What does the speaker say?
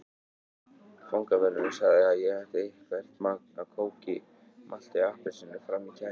Fangavörðurinn sagði að ég ætti eitthvert magn af kóki, malti og appelsíni frammi í kæli.